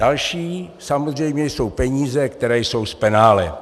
Další samozřejmě jsou peníze, které jsou z penále.